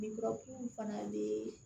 Lujurakunw fana bɛ